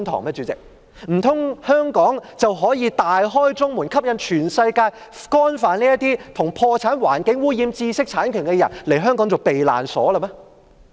代理主席，難道香港可以大開中門，吸引全世界干犯與破產、環境污染或知識產權有關的罪行的人把香港當作避難所嗎？